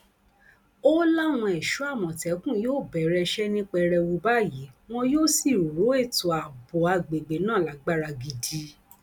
ó láwọn ẹṣọ àmọtẹkùn yóò bẹrẹ iṣẹ ní pẹrẹwu báyìí wọn yóò sì rọ ètò ààbò àgbègbè náà lágbára gidi